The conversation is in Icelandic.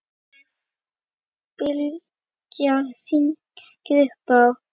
Bylgja hringdi upp á